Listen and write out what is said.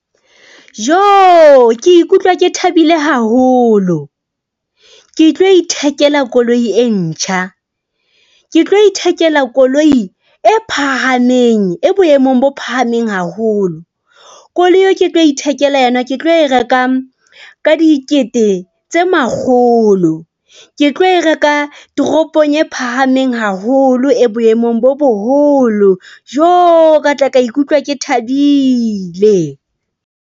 Joo ke ikutlwa, ke thabile haholo, ke tlo ithekela koloi e ntjha. Ke tlo ithekela koloi e phahameng e boemong bo phahameng haholo. Koloi eo ke tlo ithekela yana, ke tlo e reka ka dikete tse makgolo, ke tlo e reka toropong e phahameng haholo e boemong bo boholo. Joo ka tla ka ikutlwa ke thabile.